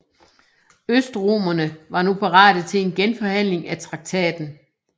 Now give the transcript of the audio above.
Østromerne var nu parate til en genforhandling af traktaten